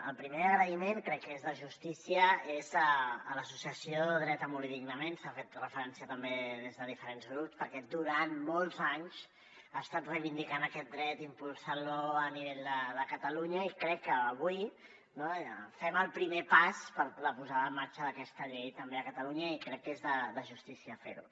el primer agraïment crec que és de justícia és l’associació dret a morir dignament s’hi ha fet referència també des de diferents grups perquè durant molts anys ha estat reivindicant aquest dret impulsant lo a nivell de catalunya i crec que avui fem el primer pas per a la posada en marxa d’aquesta llei també a catalunya i crec que és de justícia fer ho